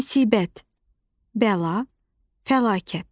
Müsibət, bəla, fəlakət.